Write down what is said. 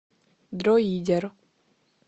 дроидер